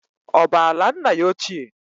Ọ bụ ala nna ya ochie?